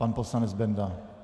Pan poslanec Benda.